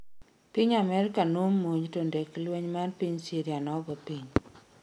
piny amerka nomonj to ndek lweny mar piny syria nogoo piny